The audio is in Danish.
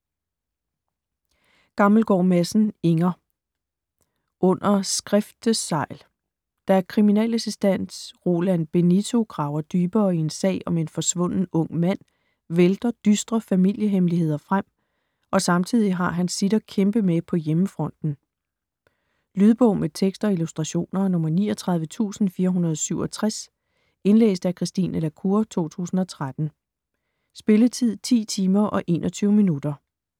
Gammelgaard Madsen, Inger: Under skriftesegl Da kriminalassistent Roland Benito graver dybere i en sag om en forsvunden ung mand vælter dystre familiehemmeligheder frem, og samtidig har han sit at kæmpe med på hjemmefronten. Lydbog med tekst og illustrationer 39467 Indlæst af Christine la Cour, 2013. Spilletid: 10 timer, 21 minutter.